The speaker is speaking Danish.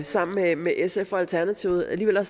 sammen med med sf og alternativet alligevel har